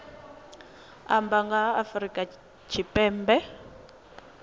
amba nga ha afrika tshipembe